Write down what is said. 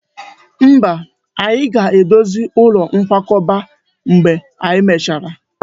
Mba, anyị ga-edozi ụlọ nkwakọba mgbe e mechara